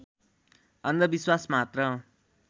अन्धविश्वास मात्र